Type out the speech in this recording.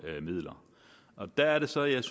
midler der er det så jeg